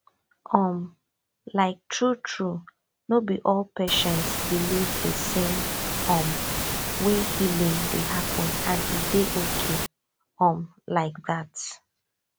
um like truetrue no be all patients believe the same um way healing dey happen and e dey okay um like that